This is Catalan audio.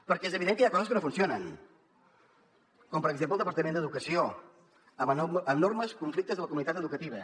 perquè és evident que hi ha coses que no funcionen com per exemple el departament d’educació amb enormes conflictes amb la comunitat educativa